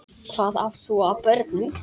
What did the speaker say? Hvað átt þú af börnum?